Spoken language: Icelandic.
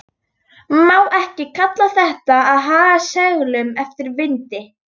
Má ekki kalla þetta að haga seglum eftir vindi?